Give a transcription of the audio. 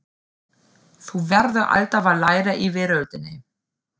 Þú verður alltaf að læra í veröldinni.